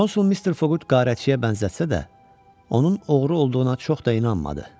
Konsul Mister Foqut qarətçiyə bənzətsə də, onun oğru olduğuna çox da inanmadı.